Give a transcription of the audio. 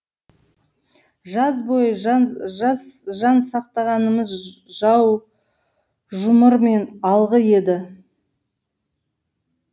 жаз бойы жан сақтағанымыз жаужұмыр мен алғы еді